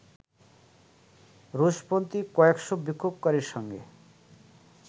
রুশপন্থী কয়েকশ’ বিক্ষোভকারীর সঙ্গে